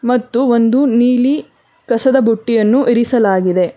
ಮತ್ತು ಒಂದು ನೀಲಿ ಕಸದ ಬುಟ್ಟಿಯನ್ನು ಇರಿಸಲಾಗಿದೆ.